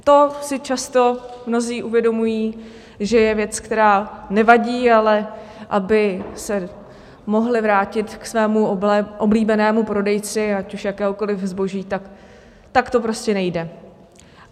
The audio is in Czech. To si často mnozí uvědomují, že je věc, která nevadí, ale aby se mohli vrátit ke svému oblíbenému prodejci, ať už jakéhokoliv zboží, tak to prostě nejde.